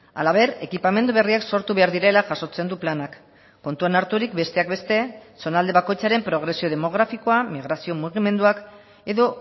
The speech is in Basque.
halaber ekipamendu berriak sortu behar direla jasotzen du planak kontuan harturik besteak beste zonalde bakoitzaren progresio demografikoa migrazio mugimenduak edo